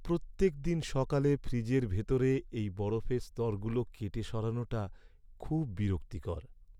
প্রত্যেকদিন সকালে ফ্রিজের ভিতরে এই বরফের স্তরগুলো কেটে সরানোটা খুব বিরক্তিকর!